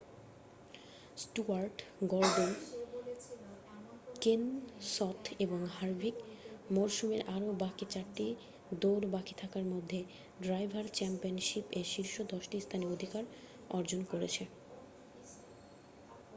Stewart Gordon Kenseth এবং Harvick মরসুমের আরও বাকি চারটি দৌড় বাকি থাকার মধ্যে ড্রাইভার চ্যাম্পিয়নশিপ এ শীর্ষ দশটি স্থানে অধিকার অর্জন করেছে